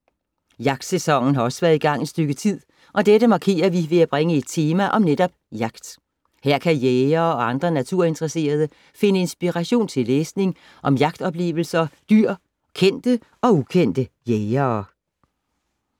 Jagtsæsonen har også været i gang et stykke tid og dette markerer vi ved at bringe et tema om netop jagt. Her kan jægere og andre naturinteresserede finde inspiration til læsning om jagtoplevelser, dyr og kendte og ukendte jægere.